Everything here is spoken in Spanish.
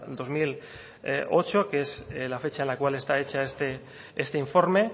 dos mil ocho que es la fecha en la cual está hecha este informe